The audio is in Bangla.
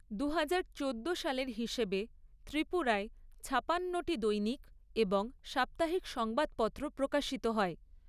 দুহাজার চোদ্দো সালের হিসেবে, ত্রিপুরায় ছাপান্নটি দৈনিক এবং সাপ্তাহিক সংবাদপত্র প্রকাশিত হয়।